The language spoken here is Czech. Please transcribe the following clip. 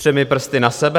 Třemi prsty na sebe.